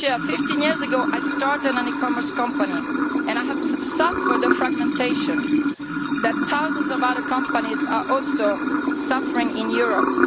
Fifteen years ago I started an e commerce company and I have suffered the fragmentation that thousands of other companies are also suffering in Europe.